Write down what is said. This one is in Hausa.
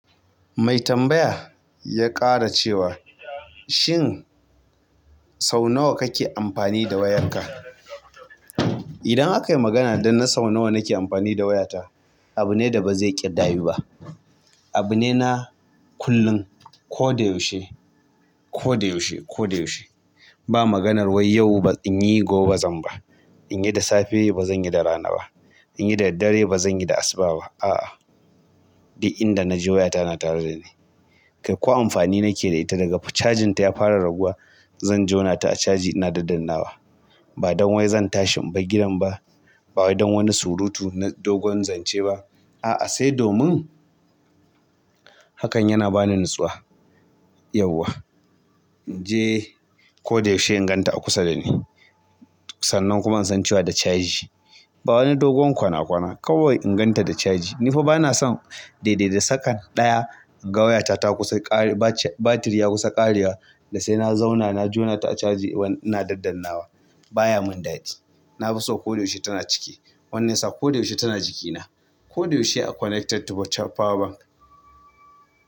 Mai tambaya ya ƙara cewa, shin sau nawa kake amfani da wayarka? Idan aka yi magana da na sau nawa nake amfani da wayata, abu ne da ba zai ƙayyadu ba. Abu ne na kullum. Ko da yaushe, ko da yaushe, ko da yaushe. Ba maganar wai yau in yi gobe bazan ba. In yi da safe bazan yi da rana ba. In yi da daddare bazan yi da asuba ba. A'a, duk inda na je wayata na tare da ni. Kai ko amfani nake da ita daga cajinta ya fara raguwa, zan jona ta a caji ina daddannawa. Ba don wai zan tashi in bar gidan ba, ba don wani surutu na dogon zance ba. A'a, sai domin hakan yana bani natsuwa. Yauwa. In je ko da yaushe in ganta a kusa da ni. Sannan kuma in san cewa da caji. Ba wani dogon kwana kwana. Kawai in ganta da caji. Ni fa bana son daidai da sakannin ɗaya in ga wayata ta kusa ƙare, batir ya kusa ƙarewa, da sai na zauna na jona ta a caji ina daddannawa. Ba ya mun daɗi. Na fi so ko da yaushe tana cike. Wannan ya sa ko da yaushe tana jikina. Ko da yaushe a connected to power bank.